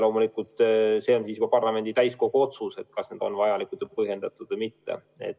See on siis juba parlamendi täiskogu otsus, kas need on vajalikud ja põhjendatud või mitte.